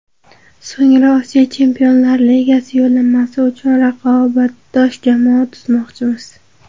So‘ngra Osiyo Chempionlar Ligasi yo‘llanmasi uchun raqobatbardosh jamoa tuzmoqchimiz.